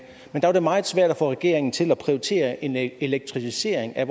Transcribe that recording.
da var det meget svært at få regeringen til at prioritere en elektrificering af